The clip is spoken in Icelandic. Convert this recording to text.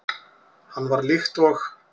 Hann var líkt og